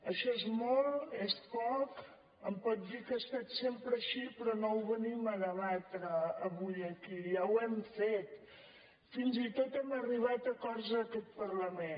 això és molt és poc em pot dir que ha estat sempre així però no ho venim a debatre avui aquí ja ho hem fet fins i tot hem arribat a acords en aquest parlament